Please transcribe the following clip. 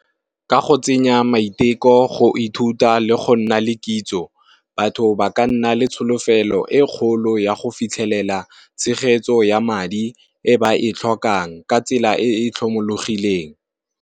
Ka go tsenya maiteko go ithuta le go nna le kitso, batho ba ka nna le tsholofelo e kgolo ya go fitlhelela tshegetso ya madi e ba e tlhokang ka tsela e e tlhomologileng.